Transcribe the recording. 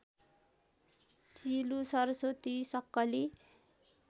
शिलु सरस्वती सक्कली